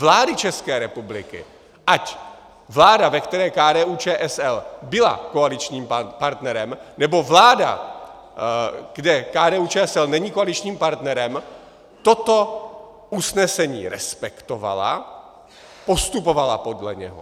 Vlády České republiky, ať vláda, ve které KDU-ČSL byla koaličním partnerem, nebo vláda, kde KDU-ČSL není koaličním partnerem, toto usnesení respektovala, postupovala podle něho.